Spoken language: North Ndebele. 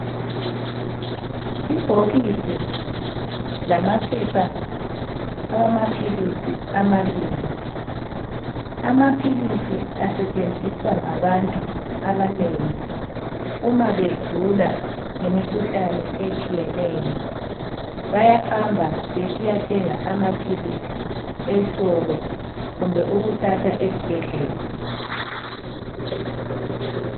Ibhokisi lamaphepha awamaphilisi amabili, amaphilisi asetshenziswa ngabantu abanengi uma begula ngemikhuhlane etshiyeneyo. Bayahamba besiyathenga amaphilisi esitolo kumbe ukuthatha esibhedlela.